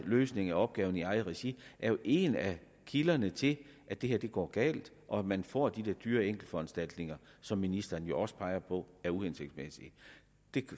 løsning af opgaverne i eget regi er jo en af kilderne til at det her går galt og at man får de der dyre enkeltforanstaltninger som ministeren også peger på er uhensigtsmæssige